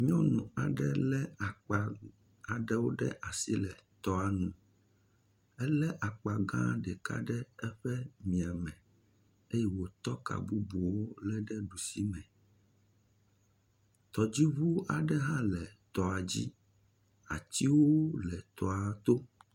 Nyɔnu aɖe lé akpa aɖewo ɖe asi le tɔa nu, elé akpa gã ɖe eƒe mia me eye wòtɔ ka bubuwo lé ɖusi me, tɔdziŋuwo aɖe hã le tɔa dzi, atiwo le tɔa to.